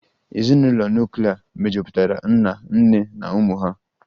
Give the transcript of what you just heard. Ezinụlọ nuklia mejupụtara nna, nne na ụmụ ha